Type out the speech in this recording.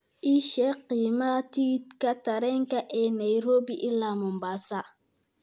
ii sheeg qiimaha tigidhka tareenka ee nairobi ilaa mombasa